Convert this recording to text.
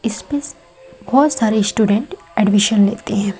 इसपे बहोत सारे स्टूडेंट एडमिशन लेते है।